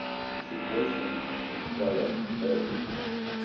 The situation required urgent action.